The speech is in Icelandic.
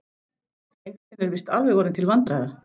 Þrengslin eru víst alveg orðin til vandræða.